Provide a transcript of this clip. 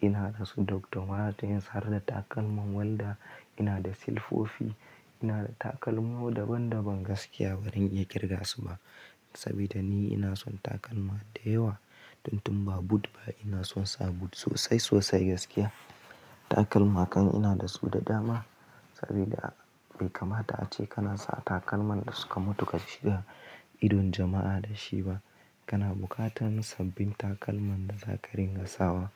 ina da su duk domata yin sar da takalman walda, ina da silfofi, ina da takalmu daban daban gaskiya bari in iya kirga su ba. Saboda ni ina son takalma da yawa, don tun ba boot ba ina son sa boot sosai sosai gaskiya. Takalma kan ina da su da dama saboda bai kamata ace kana sa takalman da suka mutu ka shiga idon jama'a da shi ba. Kana bukatan sabbin takalman da za ka ringa sawa.